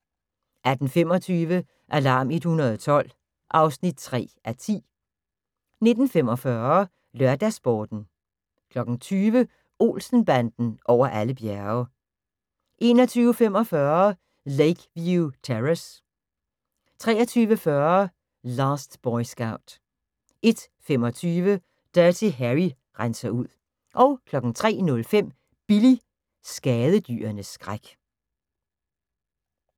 18:25: Alarm 112 (3:10) 19:45: LørdagsSporten 20:00: Olsen-banden over alle bjerge 21:45: Lakeview Terrace 23:40: Last Boy Scout 01:25: Dirty Harry renser ud 03:05: Billy – skadedyrenes skræk